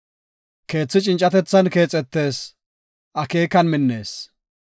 Keethi cincatethan keexetees; akeekan minnees.